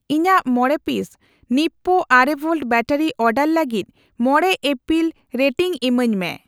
ᱤᱧᱟᱜ ᱢᱚᱲᱮ ᱯᱤᱥ ᱱᱤᱯᱳ ᱟᱨᱮ ᱵᱷᱳᱞᱴ ᱵᱮᱴᱟᱨᱤ ᱚᱰᱟᱨ ᱞᱟᱹᱜᱤᱫ ᱢᱚᱲᱮ ᱤᱯᱤᱞ ᱨᱮᱴᱤᱝ ᱤᱢᱟᱹᱧ ᱢᱮ ᱾